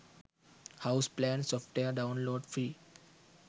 house plan software download free